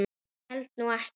Ég held nú ekki.